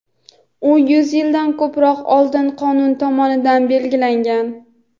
u yuz yildan ko‘proq oldin qonun tomonidan belgilangan.